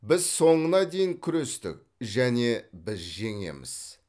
біз соңына дейін күрестік және біз жеңеміз